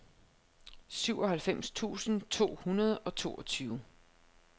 syvoghalvfems tusind to hundrede og toogtyve